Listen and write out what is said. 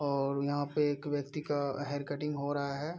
और यहाँ पे एक व्यक्ति का हेयर कटिंग हो रहा है।